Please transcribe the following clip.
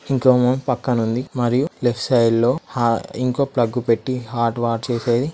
System ముందు ఉంది. ఇంకా పక్కనుంది. మరియు లెఫ్ట్ సైడ్ లో--